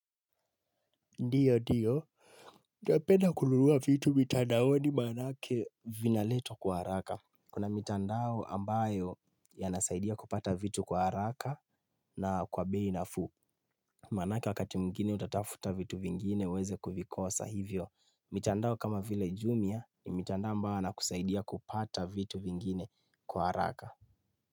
Ndiyo ndiyo. Napenda kununua vitu mitandaoni maana yake vinaletwa kwa haraka. Kuna mitandao ambayo yanasaidia kupata vitu kwa haraka na kwa bei nafuu Maana yake wakati mwingine utatafuta vitu vingine uweze kuvikosa hivyo. Mitandao kama vile Jumia ni mitandao ambayo yanakusaidia kupata vitu vingine kwa haraka.